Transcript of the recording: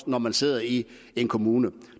når man sidder i en kommune